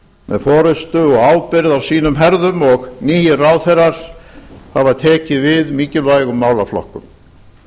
með forystu og ábyrgð á sínum herðum og nýir ráðherrar hafa tekið við mikilvægum málaflokkum